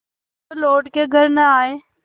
जो लौट के घर न आये